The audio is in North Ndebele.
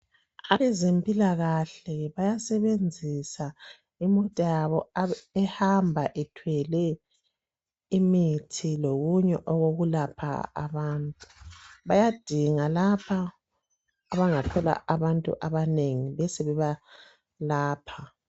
Abezempilakahle bayasebenzisa imota yabo ehamba ithwele imithi lokunye okokulapha abantu bayadinga lapho abangathola abantu abanengi besebebalapha.